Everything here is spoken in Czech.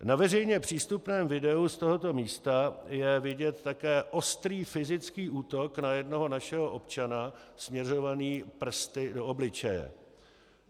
Na veřejně přístupném videu z tohoto místa je vidět také ostrý fyzický útok na jednoho našeho občana směřovaný prsty do obličeje.